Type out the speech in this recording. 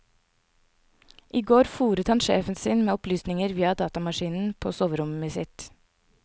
I går fôret han sjefen sin med opplysninger via datamaskinen på soverommet sitt.